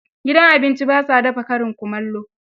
Gidan abincin ba sa dafa karin kumallo